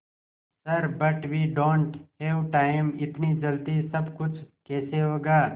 sir but we don't have time इतनी जल्दी सब कुछ कैसे होगा